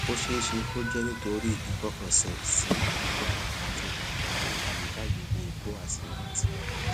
ó ṣeé ṣe kó jé nítorí ìfọkànsìn sí agbára àti àǹfààní àyíká yìí ni bua cement